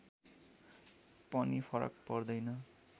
पनि फरक पर्दैन